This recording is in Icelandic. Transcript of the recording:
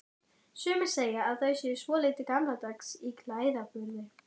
Sumir segja að þau séu svolítið gamaldags í klæðaburði?